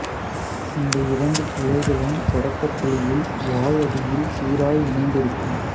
இந்த இரண்டு கிளைகளும் தொடக்கப் புள்ளியில் வாள் அடியில் சீராய் இணைந்திருக்கும்